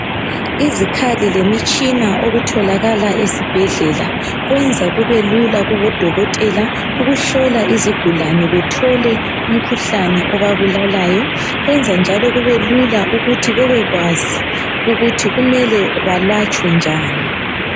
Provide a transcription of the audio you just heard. Izikhali lemitshina okutholakala esibhedlela kwenza kubelula kubodokotela ukuhlola izigulane bethole umkhuhlane obabulalayo kwenza njalo kubelula ukuthi bebekwazi ukuthi kumele balatshwe njani.